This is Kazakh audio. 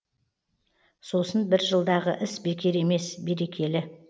сосын бір жылдағы іс бекер емес берекелі